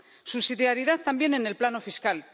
Subsidiariedad también en el plano fiscal.